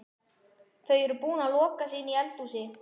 Þau eru búin að loka sig inni í eldhúsinu.